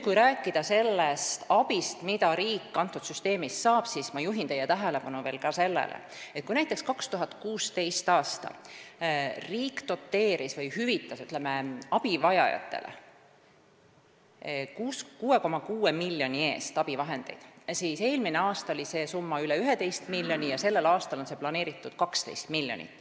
Kui rääkida abist, mida riik sellest süsteemist saab, siis ma juhin teie tähelepanu veel sellele, et kui näiteks 2016. aastal riik doteeris või, ütleme, hüvitas abivajajatele 6,6 miljoni euro eest abivahendeid, siis eelmisel aastal oli see summa üle 11 miljoni euro ja sellel aastal on see planeeritud 12 miljonit.